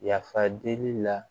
Yafa deli la